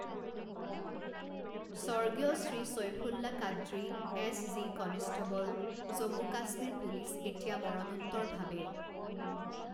স্বৰ্গীয় Shri Saifullah Qadri, S G. Constable, Jammu Kashmir police এতিয়া মৰণোত্তৰভাৱে